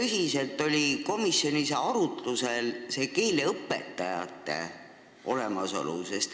Kas komisjonis oli arutlusel keeleõpetajate olemasolu?